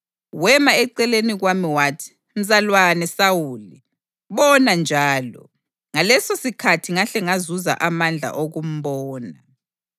Wema eceleni kwami wathi, ‘Mzalwane Sawuli, bona njalo!’ Ngalesosikhathi ngahle ngazuza amandla okumbona.